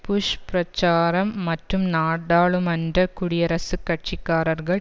push பிரச்சாரம் மற்றும் நாடாளுமன்ற குடியரசுக் கட்சி காரர்கள்